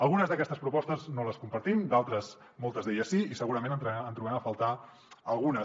algunes d’aquestes propostes no les compartim d’altres moltes d’elles sí i segurament en trobem a faltar algunes